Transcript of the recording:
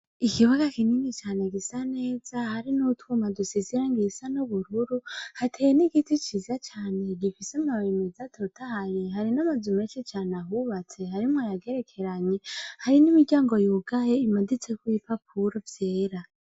Ikibuga kinini cane gisa neza hariho utwuma dusesangiye dusa nubururu hateye nigiti ciza cane gifise amababi meza atotahaye, hari namazu menshi cane ahubatse, harimwo ayagerekeranye hari nimiryango yugaye imaditseko ibipapuro vyera.